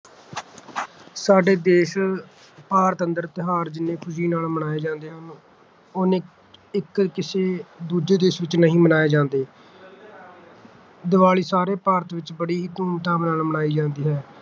ਸਾਡੇ ਦੇਸ਼ ਭਾਰਤ ਅੰਦਰ ਤਿਓਹਾਰ ਜਿੰਨੇ ਖੁਸ਼ੀ ਨਾਲ ਮਨਾਏ ਜਾਂਦੇ ਨੇ ਓੰਨੇ ਇਕ ਕਿਸੇ ਦੂਜੇ ਦੇਸ਼ ਚ ਨਹੀਂ ਮਨਾਏ ਜਾਂਦੇ ਦੀਵਾਲੀ ਸਾਰੇ ਭਾਰਤ ਵਿਚ ਬੜੀ ਧੂਮ ਧਾਮ ਨਾਲ ਮਨਾਈ ਜਾਂਦੀ ਹੈ